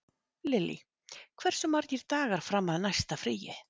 Lily, hversu margir dagar fram að næsta fríi?